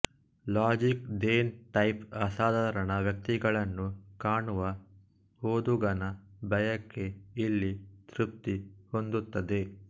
ಲಾರ್ಜಿಕ್ than life ಅಸಾಧಾರಣ ವ್ಯಕ್ತಿಗಳನ್ನು ಕಾಣುವ ಓದುಗನ ಬಯಕೆ ಇಲ್ಲಿ ತೃಪ್ತಿಹೊಂದುತ್ತದೆ